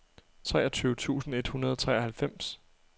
treogtyve tusind et hundrede og treoghalvfems